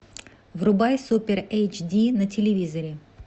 врубай супер эйч ди на телевизоре